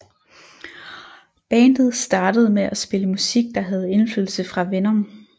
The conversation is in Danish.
Bandet startede med at spille musik der havde indflydelse fra Venom